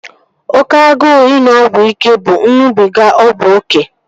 Oke agụụ ịṅụ ọgwụ ike bụ ịṅụbiga ọgwụ oké